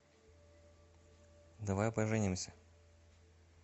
давай поженимся